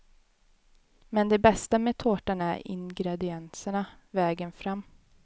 Men det bästa med tårtan är ingredienserna, vägen fram.